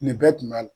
Nin bɛɛ tun b'a la